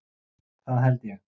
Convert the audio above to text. Það held ég.